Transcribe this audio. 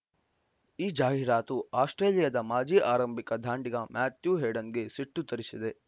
ಈ ಜಾಹೀರಾತು ಆಸ್ಪ್ರೇಲಿಯಾದ ಮಾಜಿ ಆರಂಭಿಕ ದಾಂಡಿಗ ಮ್ಯಾಥ್ಯೂ ಹೇಡನ್‌ಗೆ ಸಿಟ್ಟು ತರಿಸಿದೆ